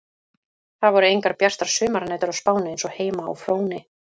Það voru engar bjartar sumarnætur á Spáni eins og heima á Fróni.